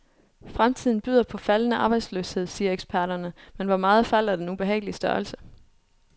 Fremtiden byder på faldende arbejdsløshed, siger eksperterne, men hvor meget falder den ubehagelige størrelse?